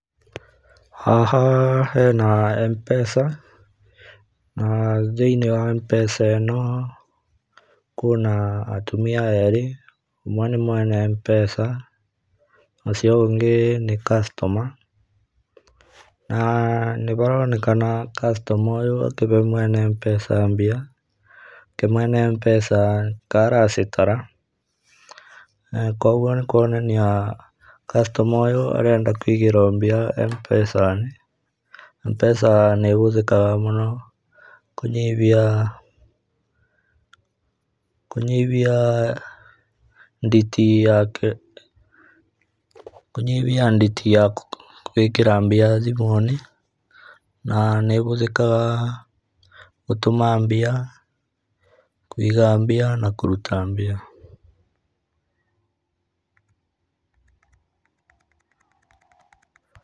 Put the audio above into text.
Haha hena M-pesa, na thĩinĩ wa M-pesa ĩno, kwĩna atumia erĩ, ũmwe nĩ mwene M-pesa, ucio ũngĩ nĩ customer na nĩmaronekana customer ũyũ akine mwene M-pesa mbia, nake mwene M-pesa ta aracitara, koguo nĩkuonania customer ũyũ arenda kũigĩrwo mbia M-pesa, M-pesa nĩhũthĩkaga mũno kũnyihia kũnyihia nditi yake kũnyihia nditi ya gũĩkĩra mbia thimũinĩ, na nĩhũthĩkaga gũtũma mbia, kũiga mbia, na kũruta mbia.